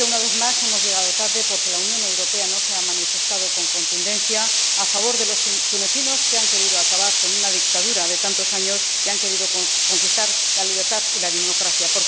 Creo que, una vez más, hemos llegado tarde, porque la Unión Europea no se ha manifestado con contundencia a favor de los tunecinos, que han querido acabar con una dictadura de tantos años y han querido conquistar la libertad y la democracia.